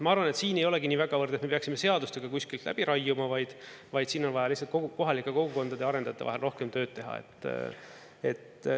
Ma arvan, et siin ei olegi niivõrd, et me peaksime seadustega kuskilt läbi raiuma, vaid siin on vaja lihtsalt kohalike kogukondade ja arendajate vahel rohkem tööd teha.